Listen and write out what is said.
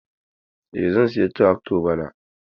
Eh, zan saya trakto bana.